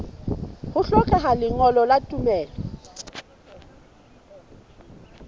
ho hlokeha lengolo la tumello